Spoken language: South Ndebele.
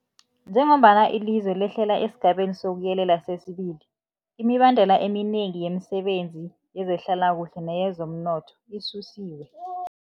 Njengombana ilizwe lehlela esiGabeni sokuYelela sesi-2, imibandela eminengi yemisebenzi yezehlalakuhle neyezomnotho isusiwe.